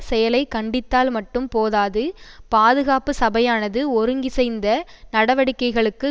செயலை கண்டித்தால் மட்டும் போதாது பாதுகாப்பு சபையானது ஒருங்கிசைந்த நடவடிக்கைகளுக்கு